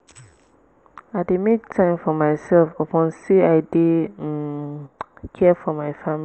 i dey make time for mysef upon sey i dey um care for my family.